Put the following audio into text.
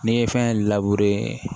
N'i ye fɛn